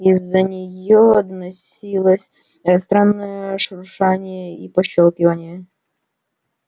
из-за нее доносилось странное шуршание и пощёлкивание